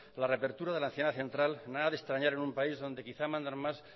la reapertura de la central nada de extrañar en un país donde quizás mandan más